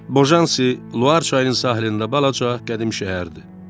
Bojansi Luar çayının sahilində balaca qədim şəhərdir.